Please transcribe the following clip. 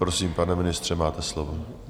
Prosím, pane ministře, máte slovo.